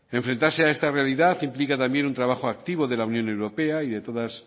enfrentarse a esta realidad implica también un trabajo activo de la unión europea y todas